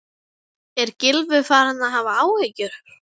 Er Gylfi farinn að hafa áhyggjur?